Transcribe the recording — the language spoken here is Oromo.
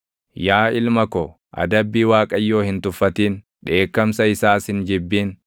Yaa ilma ko, adabbii Waaqayyoo hin tuffatin; dheekkamsa isaas hin jibbin.